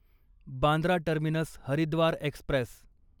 Bandra terminus Haridwar Express